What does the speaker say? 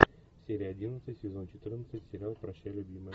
серия одиннадцать сезон четырнадцать сериал прощай любимая